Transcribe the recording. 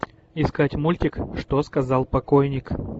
искать мультик что сказал покойник